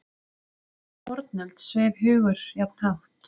Jafnvel í fornöld sveif hugur jafn hátt.